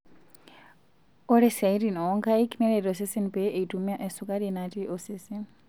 Ore siatin oonkaik neret osesen pee eitumia esukari natii osesen.